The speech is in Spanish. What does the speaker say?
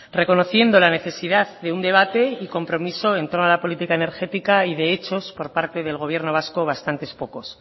reconociendo la necesidad de un debate y compromiso en todas las políticas energética y de hechos por parte del gobierno vasco bastantes pocos